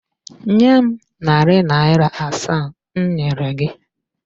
Nye m narị naịra asaa m nyere gị!